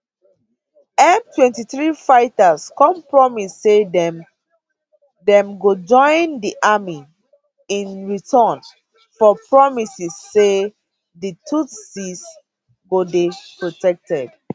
m23 fighters come promise say dem dem go join di army in return for promises say di tutsis go dey protected